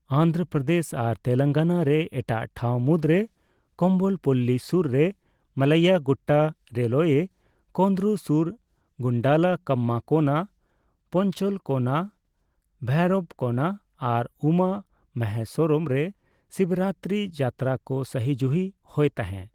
ᱚᱱᱫᱷᱨᱚᱯᱚᱨᱫᱮᱥ ᱟᱨ ᱛᱮᱞᱮᱝᱜᱟᱱᱟ ᱨᱮ ᱮᱴᱟᱜ ᱴᱷᱟᱸᱣ ᱢᱩᱫᱽᱨᱮ ᱠᱚᱢᱵᱚᱞᱯᱚᱞᱞᱤ ᱥᱳᱨ ᱨᱮ ᱢᱟᱞᱞᱟᱭᱟ ᱜᱩᱴᱴᱟ, ᱨᱮᱞᱳᱭᱮ ᱠᱳᱫᱩᱨᱩᱨ ᱥᱳᱨ ᱜᱩᱱᱰᱞᱟᱠᱟᱢᱢᱟ ᱠᱳᱱᱟ, ᱯᱮᱧᱪᱚᱞᱠᱳᱱᱟ, ᱵᱷᱳᱭᱨᱚᱵᱠᱳᱱᱟ ᱟᱨ ᱩᱢᱟ ᱢᱚᱦᱮᱥᱥᱚᱨᱚᱢ ᱨᱮ ᱥᱤᱵᱨᱟᱛᱤᱨᱤ ᱡᱟᱛᱛᱟᱨᱟ ᱠᱚ ᱥᱟᱹᱦᱤᱡᱩᱦᱤ ᱦᱳᱭ ᱛᱟᱦᱮᱸ ᱾